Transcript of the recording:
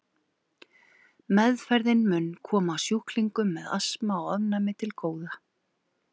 Meðferðin mun koma sjúklingum með astma og ofnæmi til góða.